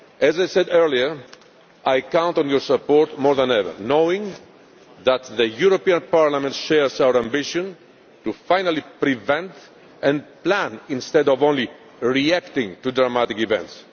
debate. As I said earlier, I count on your support more than ever, knowing that Parliament shares our ambition finally to prevent and plan instead of only reacting to dramatic